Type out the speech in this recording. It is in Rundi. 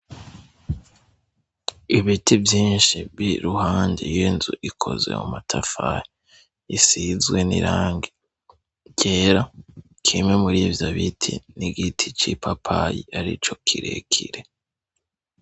Ibiti vyinshi biri iruhande y'inzu ikozwe mu matafari isizwe n'irangi ryera kimwe muri ivyo biti ni ico giti c'ipapayi arico kirekire.